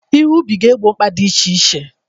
Ihe ubi ga-egbo mkpa ndị dị iche iche.